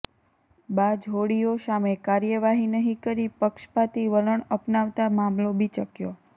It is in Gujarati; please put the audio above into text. બાજ હોડીઓ સામે કાર્યવાહી નહીં કરી પક્ષપાતી વલણ અપનાવતા મામલો બિચકયો